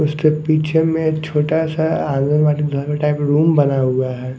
उसके पीछे मे छोटा सा आंगनवाडी घर मे टाइप रूम बना हुआ है।